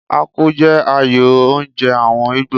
Akpu jẹ́ ààyò oúnjẹ àwọn Ìgbò.